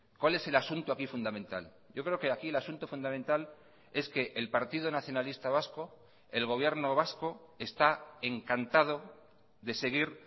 cuál es el asunto aquí fundamental yo creo que aquí el asunto fundamental es que el partido nacionalista vasco el gobierno vasco está encantado de seguir